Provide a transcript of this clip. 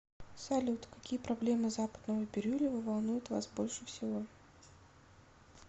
салют какие проблемы западного бирюлево волнуют вас больше всего